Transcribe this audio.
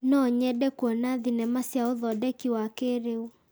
No nyende kuona thenema cia ũthondeki wa kĩrĩu.